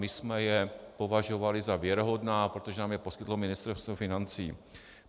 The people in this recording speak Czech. My jsme je považovali za věrohodná, protože nám je poskytlo Ministerstvo financí.